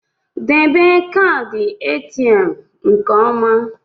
Debe kaadị ATM nke ọma!